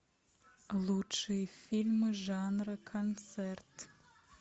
лучшие фильмы жанра концерт